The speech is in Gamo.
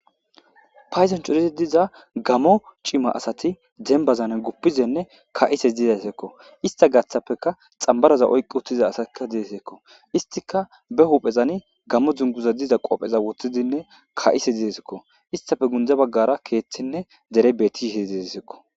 Payiduwani cooridi diza demibani gamo cimati gupishe kayishe dizayiako izatape xamibaraza oyiki utida assayi desiko isitika be huphezani gammo dunguza qobeza wothidi ka'za desiko isitape guyera kethine dereyi betishe desiko